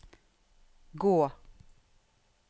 gå